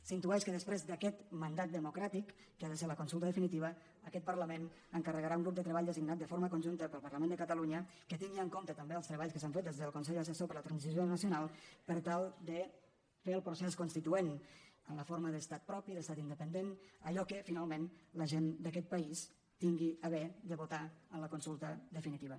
s’intueix que després d’aquest mandat democràtic que ha de ser la consulta definitiva aquest parlament encarregarà a un grup de treball designat de forma conjunta pel parlament de catalunya que tingui en compte també els treballs que s’han fet des del con·sell assessor per a la transició nacional per tal de fer el procés constituent en la forma d’estat propi d’estat independent allò que finalment la gent d’aquest país tingui a bé de votar en la consulta definitiva